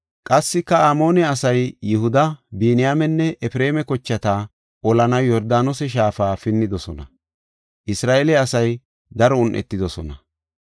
Qassika Amoone asay Yihuda, Biniyaamenne Efreema kochata olanaw Yordaanose shaafa pinnidosona; Isra7eele asay daro un7etidosona.